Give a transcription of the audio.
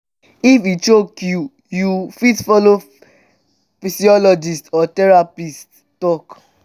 if e choke you you fit follow psychologist or therapist talk